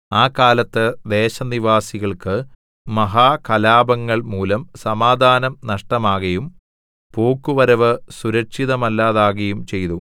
ആ കാലത്ത് ദേശനിവാസികൾക്ക് മഹാകലാപങ്ങൾ മൂലം സമാധാനം നഷ്ടമാകയും പോക്കുവരവ് സുരക്ഷിതമല്ലാതാകയും ചെയ്തു